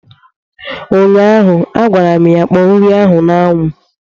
ụnyaahụ, a gwara m ya kpọọ nri a n' ánwụ!